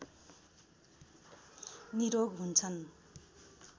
निरोग हुन्छन्